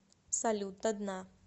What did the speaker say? салют до дна